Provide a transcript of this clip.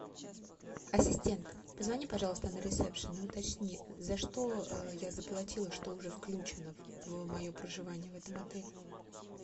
ассистент позвони пожалуйста на ресепшен и уточни за что я заплатила что уже включено в мое проживание в этом отеле